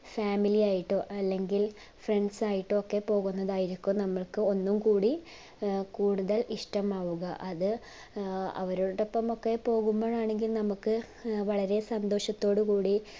family ആയിട്ടോ അല്ലെങ്കിൽ friends യിട്ടൊക്കെ പോക്കുന്നതായിരിക്കും നമ്മുക് ഒന്നു കൂടി ആഹ് കൂടുതൽ ഇഷ്ടമാകുക അത് അവരുടൊപ്പംമൊക്കെ പോകുമ്പോഴാണെങ്കിൽ നമ്മക്കു വളരെ സന്തോഷത്തോടുകൂടി